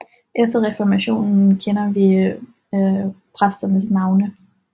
Efter reformationen kender vi præsternes navne